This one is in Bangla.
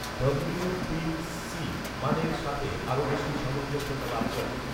ডব্লিউ তিন সি মানের সাথে আরো বেশি সামঞ্জস্যতা লাভ করে